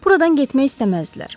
Buradan getmək istəməzdilər.